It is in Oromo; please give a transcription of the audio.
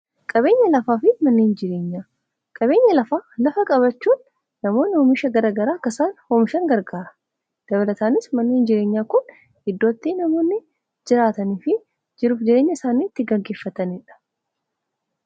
Qabeenya lafaa fi manneen jireenyaa:Qabeenya lafaa lafa qabaachuun namoonni oomisha garaa garaa akka isaan oomishan gargaara. Dabalataanis manni jireenyaa kun iddoo itti namoonni jiraataniifi jiruuf jireenya isaanii itti gaggeeffatanidha.